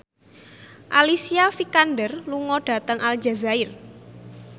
Alicia Vikander lunga dhateng Aljazair